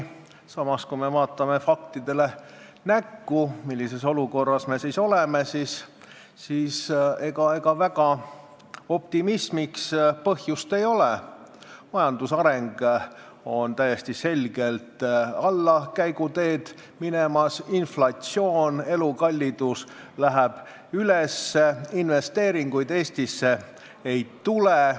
Samas, kui me vaatame näkku faktidele, millises olukorras me oleme, siis ega optimismiks väga põhjust ei ole: majandusareng läheb täiesti selgelt allakäiguteed, inflatsioon ja elukallidus lähevad üles, investeeringuid Eestisse ei tule.